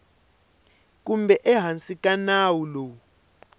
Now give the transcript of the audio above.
kumbe ehansi ka nawu lowu